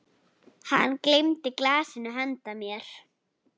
Hann gleymdi glasinu handa mér.